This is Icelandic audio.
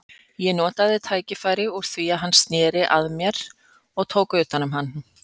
Ég notaði tækifærið úr því hann sneri að mér og tók utan um hann.